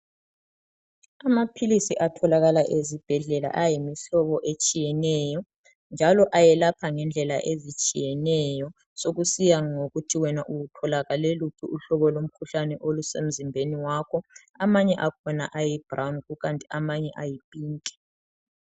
Amaphilisi atholakala ezibhedlela ayimihlobo etshiyeneyo njalo ayelapha ngendlela ezitshiyeneyo sokusiya ngokuthi wena utholakale luphi uhlobo lomkhuhlane olusemzimbeni wakho amanye akhona ayi brown kukanti amanye ayi pink.